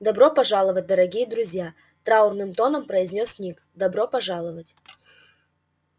добро пожаловать дорогие друзья траурным тоном произнёс ник добро пожаловать